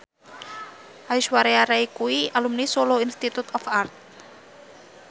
Aishwarya Rai kuwi alumni Solo Institute of Art